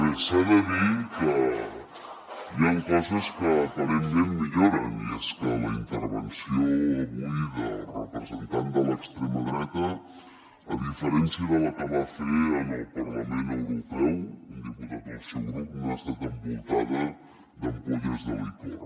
bé s’ha de dir que hi ha coses que aparentment milloren i és que la intervenció avui del representant de l’extrema dreta a diferència de la que va fer al parlament europeu un diputat del seu grup no ha estat envoltada d’ampolles de licor